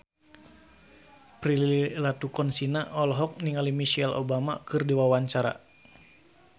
Prilly Latuconsina olohok ningali Michelle Obama keur diwawancara